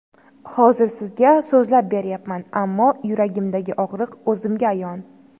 Hozir sizga so‘zlab berayapman, ammo yuragimdagi og‘riq o‘zimga ayon”.